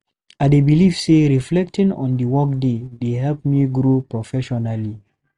I dey believe say reflecting on the workday dey help me grow professionally.